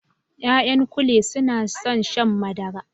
Ya'yan kule suna son shan madara